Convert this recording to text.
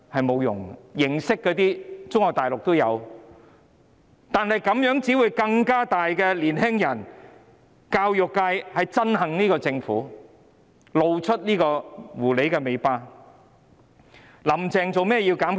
沒有用的，中國大陸也有這些形式，但這樣做只會令更多年輕人、教育界憎恨政府，他們已經露出狐狸尾巴。